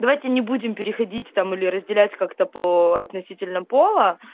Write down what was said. давайте не будем переходить там или разделять как-то по относительно пола